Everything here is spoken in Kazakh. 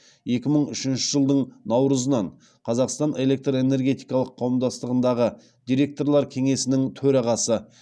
екі мың үшінші жылдың наурызынан қазақстан электр энергетикалық қауымдастығындағы директорлар кеңесінің төрағасы